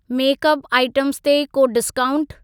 Makeup items ते को discount?